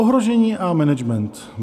Ohrožení a management.